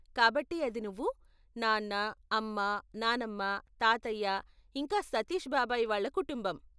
కాబట్టి అది నువ్వు, నాన్న, అమ్మ, నాన్నమ్మ, తాతయ్య, ఇంకా సతీష్ బాబాయి వాళ్ళ కుటుంబం.